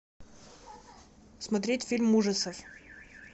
смотреть фильм ужасов